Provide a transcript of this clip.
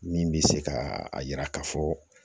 Min bɛ se ka a yira ka fɔ